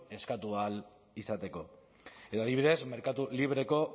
eskatu ahal izateko edo adibidez merkatu libreko